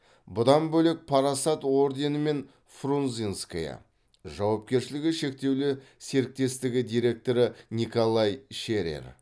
бұдан бөлек парасат орденімен фрунзенское жауапкершілігі шектеулі серіктестігі директоры николай шерер